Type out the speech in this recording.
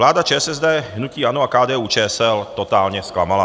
Vláda ČSSD, hnutí ANO a KDU-ČSL totálně zklamala.